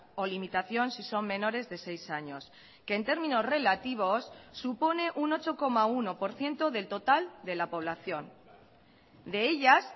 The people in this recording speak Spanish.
o limitación si son menores de seis años que en términos relativos supone un ocho coma uno por ciento del total de la población de ellas